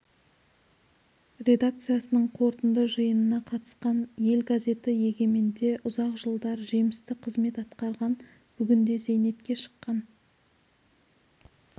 редакциясының қорытынды жиынына қатысқан ел газеті егеменде ұзақ жылдар жемісті қызмет атқарған бүгінде зейнетке шыққан